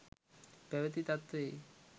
පැවති තත්වයේ